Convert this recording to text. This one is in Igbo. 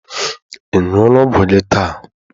Ị ṅụọla ọgwụ gị taa?